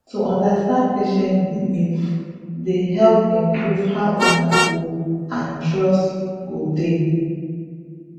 to understand patient beliefs dey help improve how una go and trust go dey